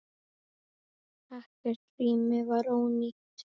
Ekkert rými var ónýtt.